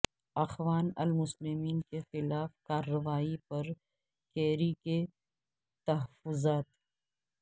اخوان المسلمین کے خلاف کارروائی پر کیری کے تحفظات